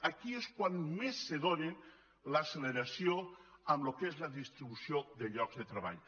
aquí és quan més se dóna l’acceleració en el que és la destrucció de llocs de treball